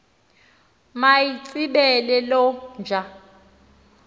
mayitsibele loo nja